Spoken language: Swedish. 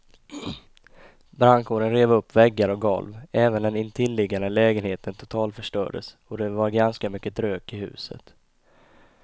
Brandkåren rev upp väggar och golv, även den intilliggande lägenheten totalförstördes och det var ganska mycket rök i huset.